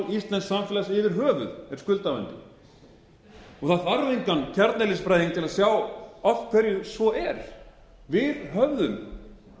skuldavandi það þarf engan kjarneðlisfræðing til að sjá af hverju svo er við höfðum